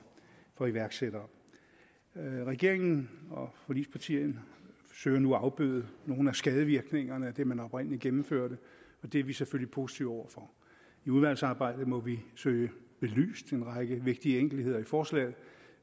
for iværksættere regeringen og forligspartierne søger nu at afbøde nogle af skadevirkningerne af det man oprindelig gennemførte det er vi selvfølgelig positive over for i udvalgsarbejdet må vi søge belyst en række vigtige enkeltheder i forslaget